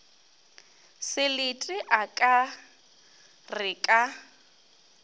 selete a ka re ka